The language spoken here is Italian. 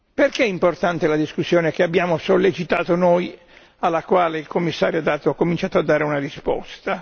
Perché è importante la discussione che abbiamo sollecitato noi alla quale il Commissario ha cominciato a dare una risposta?